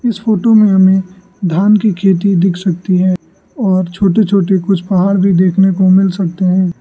इस फोटो में हमें धान की खेती दिख सकती है और छोटी छोटी कुछ पहाड़ भी देखने को मिल सकते हैं।